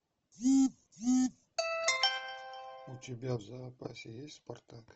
у тебя в запасе есть спартак